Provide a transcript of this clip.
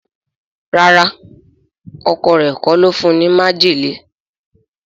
ràrá Ọkọ rẹ kò ló fún ní májèlé.